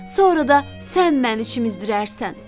Sonra da sən məni çimzdirərsən.